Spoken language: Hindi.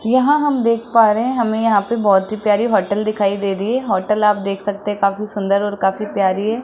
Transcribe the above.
यहां हम देख पा रहे हैं हमें यहां पे बहोत ही प्यारी होटल दिखाई दे रही है होटल आप देख सकते काफी सुंदर और काफी प्यारी है।